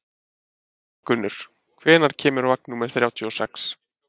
Arngunnur, hvenær kemur vagn númer þrjátíu og sex?